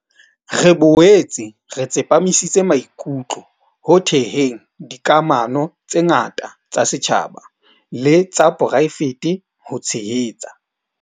Re boetse re tsepamisitse maikutlo ho theheng dikamano tse ngata tsa setjhaba le tsa poraefete ho tshehetsa.